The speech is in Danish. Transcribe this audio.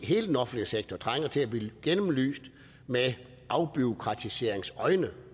hele den offentlige sektor trænger til at blive gennemlyst med afbureaukratiseringsøjne